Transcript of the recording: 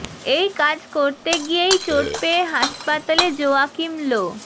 এই কাজ করতে গিয়েই চোট পেয়ে হাসপাতালে জোয়াকিম লো